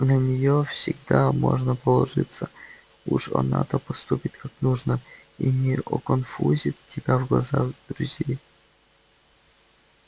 на неё всегда можно положиться уж она-то поступит как нужно и не оконфузит тебя в глазах друзей